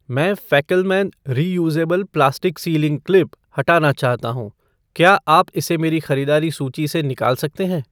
मैं Fackelmann reusable plastic sealing clip हटाना चाहता हूँ , क्या आप इसे मेरी खरीदारी सूची से निकाल सकते हैं?